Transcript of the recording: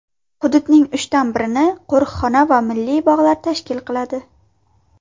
Hududning uchdan birini qo‘riqxona va milliy bog‘lar tashkil qiladi.